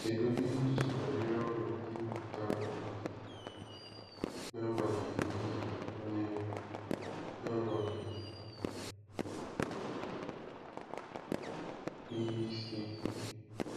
Cheedị echiche banyere ọṅụ ndị mmụta ahụ nọgidere na-enwe n'agbanyeghị ihe na-enwe n'agbanyeghị ihe isi ike.